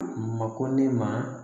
Mako ne ma